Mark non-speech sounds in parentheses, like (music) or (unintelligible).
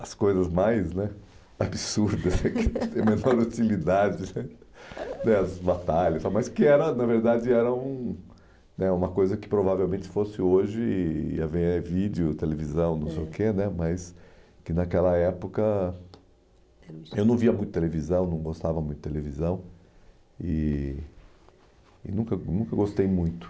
as coisas mais né absurdas, (laughs) que não tem a menor utilidade né, as batalhas, mas que era na verdade eram um né uma coisa que provavelmente fosse hoje, ia haver vídeo, televisão, não sei o que né mas que naquela época (unintelligible) eu não via muito televisão, não gostava muito de televisão e e nunca nunca gostei muito.